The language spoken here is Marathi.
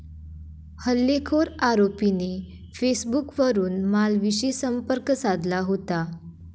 हल्लेखोर आरोपीने फेसबुकवरुन मालवीशी संपर्क साधला होता.